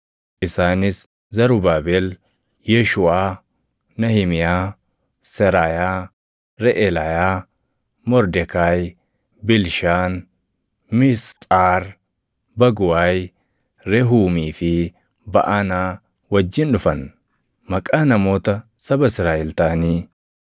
isaanis: Zarubaabel, Yeeshuuʼaa, Nahimiyaa, Seraayaa, Reʼelaayaa, Mordekaayi, Bilshaan, Misphaar, Baguwaayi, Rehuumii fi Baʼanaa wajjin dhufan. Maqaa namoota saba Israaʼel taʼanii: